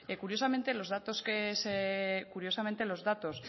curiosamente los datos